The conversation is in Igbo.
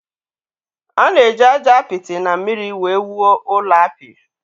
A na-eji aja apịtị na mmiri wee wuo ụlọ apị.